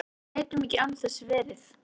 Við gætum ekki án þess verið